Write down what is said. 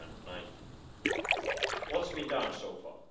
2019. What has been done so far?